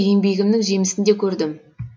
еңбегімнің жемісін де көрдім